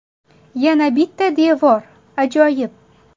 Yana bitta devor, ajoyib.